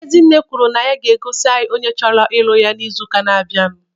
Ezinne kwuru na ya ga-egosi anyị onye chọrọ ịlụ ya n'izu na-abịa.